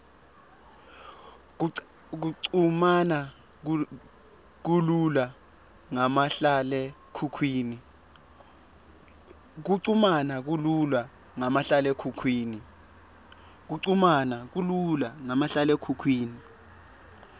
kuchumana kulula ngamahlalekhukhwini